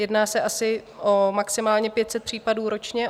Jedná se asi o maximálně 500 případů ročně.